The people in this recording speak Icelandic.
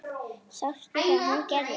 Sástu þegar hún gerði hitt?